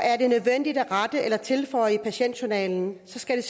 er det nødvendigt at rette eller tilføje i patientjournalen skal